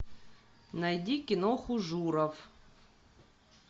найди киноху журов